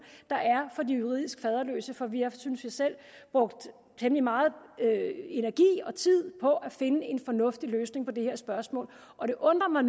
der er for de juridisk faderløse for vi har synes jeg selv brugt temmelig meget energi og tid på at finde en fornuftig løsning på det her spørgsmål og det undrer